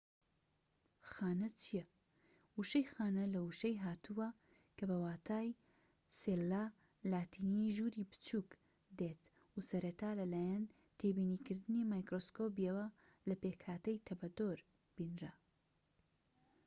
خانە چیە وشەی خانە لە وشەی لاتینی cella هاتووە کە بە واتای ژووری بچووك دێت و سەرەتا لە لایەن تێبینیکردنی مایکرۆسکۆبیەوە لە پێكهاتەی تەپەدۆر بینرا